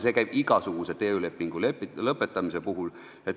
See käib nii igasuguse töölepingu lõpetamise puhul.